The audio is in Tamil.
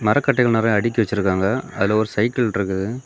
மரக்கட்டைகள் நெறய அடுக்கி வச்சிருக்காங்க அதுல ஒரு சைக்கிள் இருக்குது.